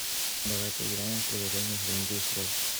давай поиграем в приложение хранитель слов